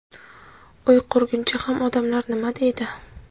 uy qurguncha ham "odamlar nima deydi".